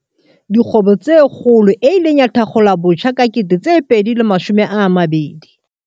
Dikgwebo tse Kgolo, e ileng ya thakgolwabotjha ka 2020.